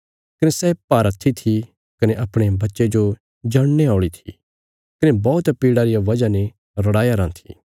कने सै भारहत्थी थी कने अपणे बच्चे जो जणने औल़ी थी कने बौहत पीड़ा रिया वजह ते रड़ाया राँ थी